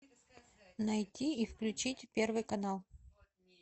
найти и включить первый канал